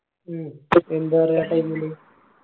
മ്മ് എന്ത് പറയാം ആ time ഇല്